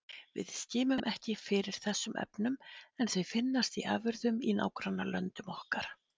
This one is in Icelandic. Við skimum ekki fyrir þessum efnum en þau finnast í afurðum í nágrannalöndum okkar.